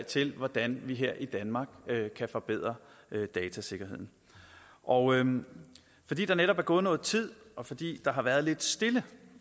til hvordan vi her i danmark kan forbedre datasikkerheden og fordi der netop er gået noget tid og fordi der har været lidt stille